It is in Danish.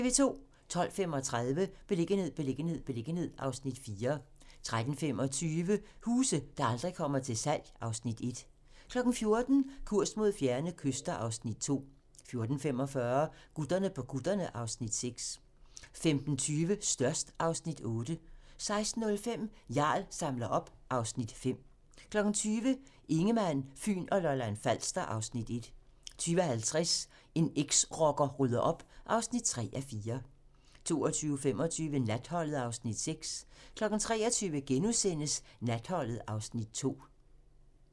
12:35: Beliggenhed, beliggenhed, beliggenhed (Afs. 4) 13:25: Huse, der aldrig kommer til salg (Afs. 1) 14:00: Kurs mod fjerne kyster (Afs. 2) 14:45: Gutterne på kutterne (Afs. 6) 15:20: Størst (Afs. 8) 16:05: Jarl samler op (Afs. 5) 20:00: Ingemann, Fyn og Lolland-Falster (Afs. 1) 20:50: En eksrocker rydder op (3:4) 22:25: Natholdet (Afs. 6) 23:00: Natholdet (Afs. 2)*